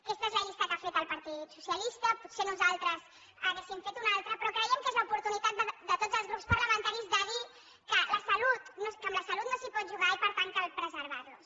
aquesta és la llista que ha fet el partit socialista potser nosaltres n’hauríem fet una altra però creiem que és l’oportunitat de tots els grups parlamentaris de dir que amb la salut no s’hi pot jugar i per tant cal preservar los